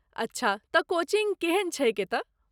अच्छा, तँ कोचिंग केहन छैक एतय?